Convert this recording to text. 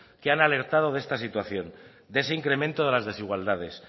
que han alertado de esta situación de ese incremento de las desigualdades